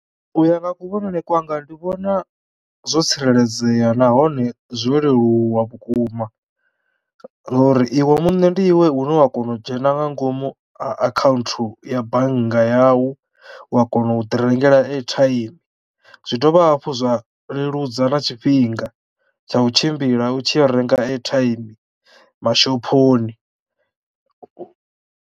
U ya nga kuvhonele kwanga ndi vhona zwo tsireledzeya nahone zwo leluwa vhukuma ngauri iwe muṋe ndi iwe une wa kono u dzhena nga ngomu kha akhaunthu ya bannga yau wa kono u ḓi rengela airtime zwi dovha hafhu zwa leludza na tshifhinga tsha u tshimbila u tshi yo renga airtime mashophoni.